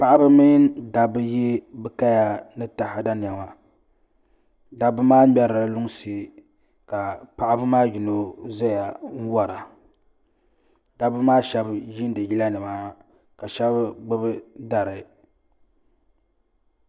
Paɣaba mini dabba n yɛ bi kaya ni taada niɛma dabba maa ŋmɛrila lunsi ka paɣaba maa yino ʒɛya n wora dabba maa shab yiindi yila nima ka shab gbubi dari